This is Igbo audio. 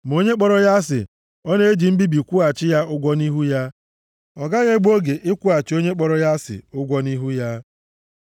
Ma onye kpọrọ ya asị, ọ na-eji mbibi kwụghachi ya ụgwọ nʼihu ya, ọ gaghị egbu oge ịkwụghachi onye kpọrọ ya asị ụgwọ nʼihu ha.